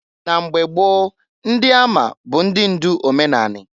Na mgba gboo ndị ama bụ ndị ndụ omenanị.